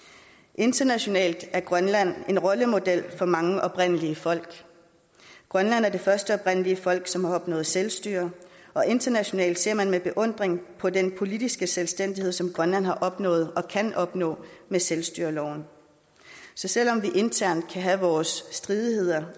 internationalt er grønland en rollemodel for mange oprindelige folk grønland er det første oprindelige folk som har opnået selvstyre og internationalt ser man med beundring på den politiske selvstændighed som grønland har opnået og kan opnå med selvstyreloven så selv om vi internt kan have vores stridigheder